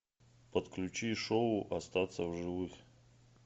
подключи шоу остаться в живых